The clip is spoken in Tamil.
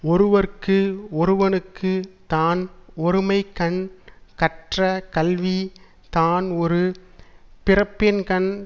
ஒருவற்கு ஒருவனுக்கு தான் ஒருமைக்கண் கற்ற கல்வி தான் ஒரு பிறப்பின்கண்